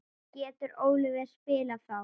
Getur Oliver spilað þá?